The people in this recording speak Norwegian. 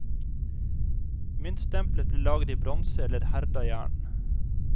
Myntstempelet ble laget i bronse eller herda jern.